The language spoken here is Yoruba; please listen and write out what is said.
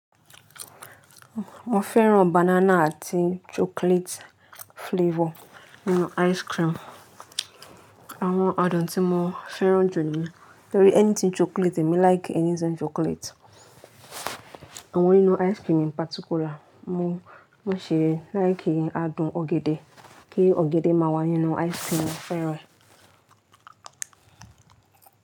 Mo fẹ́ràn banana àti chocolate flavor inú ice cream. Àwọn adùn tí mo fẹ́ràn jù ni torí anything chocolate èmi like anything chocolate. Àwọn inú ice cream in particular mo, mo ṣe like adùn ọ̀gẹ̀dẹ̀ kí ọ̀gẹ̀dẹ̀ máa wà nínú ice cream mo fẹ́ràn.